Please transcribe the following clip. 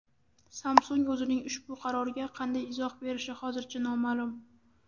Samsung o‘zining ushbu qaroriga qanday izoh berishi hozircha noma’lum.